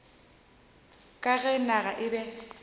ka ge naga e be